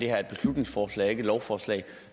er et beslutningsforslag og ikke et lovforslag